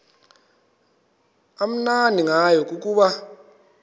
amnandi ngayo kukuba